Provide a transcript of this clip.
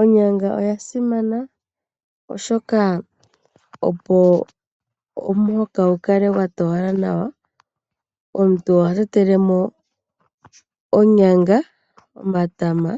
Onyanga oyasimana oshoka ohayi ningi omuhoka gu kale gwatowala nawa. Omuntu oha tetelemo onyanga, omatama